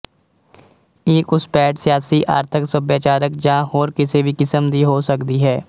ਇਹ ਘੁਸਪੈਠ ਸਿਆਸੀ ਆਰਥਕ ਸੱਭਿਆਚਾਰਕ ਜਾਂ ਹੋਰ ਕਿਸੇ ਵੀ ਕਿਸਮ ਦੀ ਹੋ ਸਕਦੀ ਹੈ